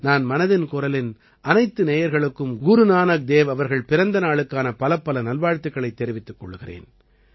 நான் மனதின் குரலின் அனைத்து நேயர்களுக்கும் குரு நானக் தேவ் அவர்கள் பிறந்த நாளுக்கான பலப்பல நல்வாழ்த்துக்களைத் தெரிவித்துக் கொள்கிறேன்